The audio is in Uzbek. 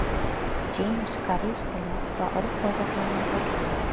Jeyms koreys tili va urf-odatlarini o‘rgandi.